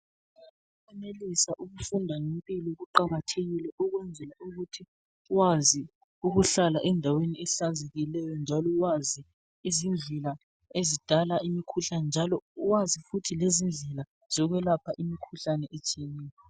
Ukwenelisa ukufunda ngempilo kuqakathekile ukwenzela ukuthi wazi ukuhlala endaweni ehlanzekileyo njalo wazi izindlela ezidala imikhuhlane njalo wazi futhi lezindlela zokwelapha imikhuhlane etshiyeneyo.